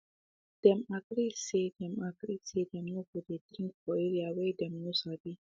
them agree say them agree say them no go dey drink for area whey them no sabi